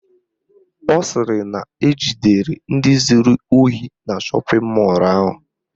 Ọ sịrị na ejidere ndị zuru ohi na shọpịn mọlụ ahụ